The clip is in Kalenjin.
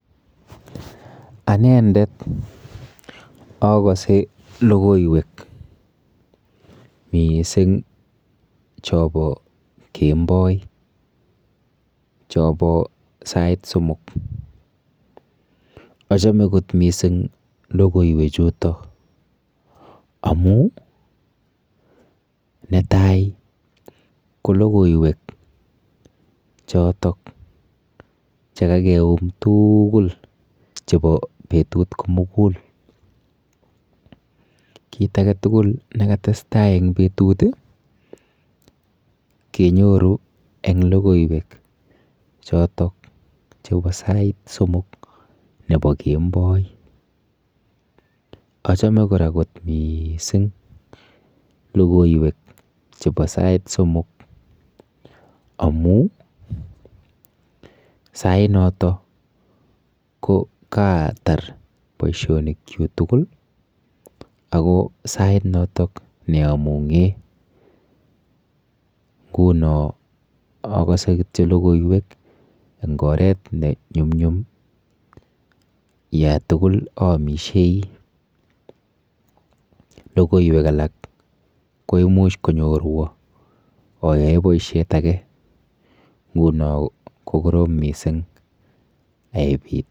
Anendet akose lokoiwek mising' chobo kemboi chobo sait somok achome kot mising' lokoiwechu amu netai ko lokoiwek chotok chekakeum tugul chebo betut komugul kiit age tugul nekatestai eng betut kenyoru eng' lokoiwek chotok chebo sait somok nebo kemboi achome kora kot mising' lokoiwek chebo sait somok amu sai noto ko katar boishonik chu tugul ako sainoto ne amung'e nguno akose kityo lokoiwek eng' oret ne nyumnyum ye tugul aomishei lokoiwek alak ko imuch konyorwo ayoe boishet age nguno kokorom mising' aebit